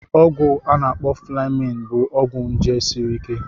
Ọgwụ a na-akpọ Fleming bụ ọgwụ nje sịrị ike.